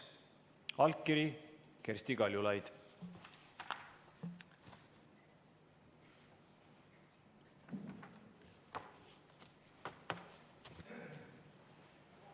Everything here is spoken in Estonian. Allkiri: Kersti Kaljulaid.